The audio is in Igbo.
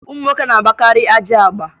Ụmụ nwoke na-agbakarị ajị agba